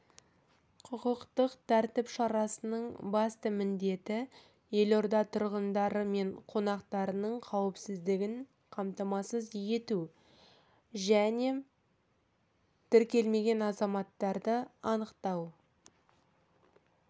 құқықтық тәртіп шарасының басты міндеті елорда тұрғындары мен қонақтарының қауіпсіздігін қамтамасыз ету және тіркелмеген азаматтарды анықтау